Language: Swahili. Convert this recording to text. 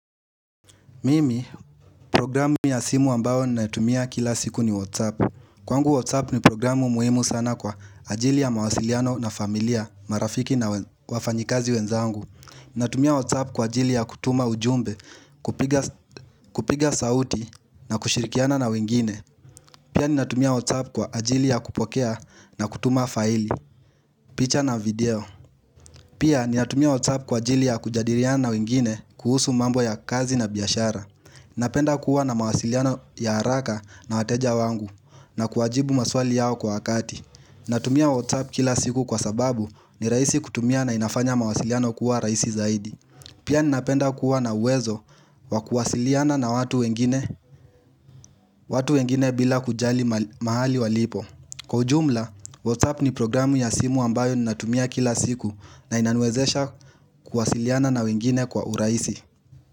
Mimi, programu ya simu ambao ninatumia kila siku ni WhatsApp Kwangu WhatsApp ni programu muhimu sana kwa ajili ya mawasiliano na familia, marafiki na wafanyikazi wenzangu Ninatumia WhatsApp kwa ajili ya kutuma ujumbe, kupiga sauti na kushirikiana na wengine Pia ninatumia WhatsApp kwa ajili ya kupokea na kutuma faili, picha na video Pia ninatumia WhatsApp kwa ajili ya kujadiriana na wengine kuhusu mambo ya kazi na biashara Napenda kuwa na mawasiliano ya haraka na wateja wangu na kuwajibu maswali yao kwa wakati Natumia WhatsApp kila siku kwa sababu ni raisi kutumia na inafanya mawasiliano kuwa raisi zaidi Pia ninapenda kuwa na uwezo wa kuwasiliana na watu wengine bila kujali mahali walipo Kwa ujumla, WhatsApp ni programu ya simu ambayo ninatumia kila siku na inaniwezesha kuwasiliana na wengine kwa urahisi.